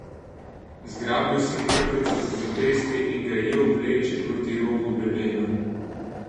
Zgrabil sem mrtveca za zapestje in ga jel vleči proti robu grebena.